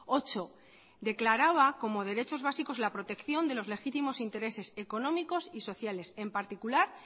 ocho declaraba como derechos básicos la protección de los legítimos intereses económicos y sociales en particular